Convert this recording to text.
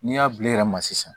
N'i y'a bil'i yɛrɛ ma sisan